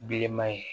Bilenman ye